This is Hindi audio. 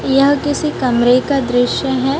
यह किसी कमरे का दृश्य है।